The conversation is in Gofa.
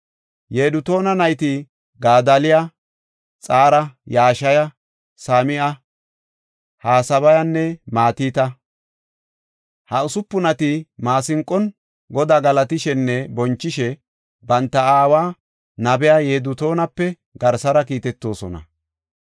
Yedutuuna nayti Gadaaliya, Xaara, Yashaya, Sam7a, Hasabayanne Matita. Ha usupunati maasinqon Godaa galatishenne bonchishe banta aawa, nabiya Yedutuunape garsara kiitetoosona.